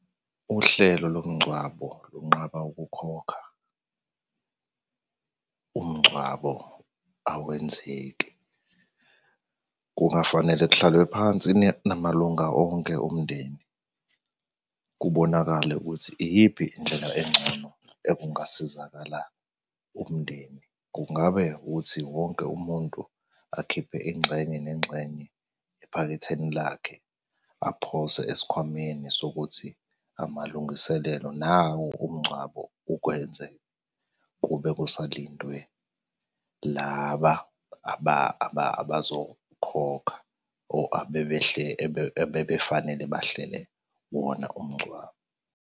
Uhlelo lomngcwabo lunqaba ukukhokha, umngcwabo awenzeki. kungafanele kuhlalwe phansi namalunga onke omndeni. Kubonakale ukuthi iyiphi indlela engcono ekungasizakala umndeni. Kungabe ukuthi wonke umuntu akhiphe ingxenye nengxenye ephaketheni lakhe, aphose esikhwameni sokuthi amalungiselelo nawo umngcwabo ukwenze kube kusalindwe laba abazokhokha or abebefanele bahlele wona umngcwabo.